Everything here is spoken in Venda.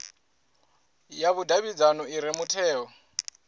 ya vhudavhidzano i re mutheo